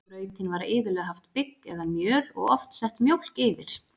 Í grautinn var iðulega haft bygg eða mjöl og oft sett mjólk yfir.